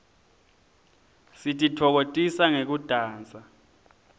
sititfokotisa ngekudansa